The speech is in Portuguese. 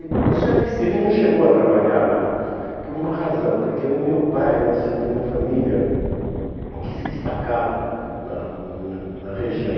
Porque o senhor disse que... Ele não chegou a trabalhar lá, por uma razão, porque o meu pai nasceu de uma família que se destacava na na na região.